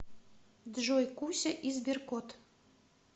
джой куся и сберкот